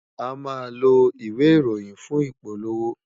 A máa ń lo ìwé ìròyìn fún ìpolówó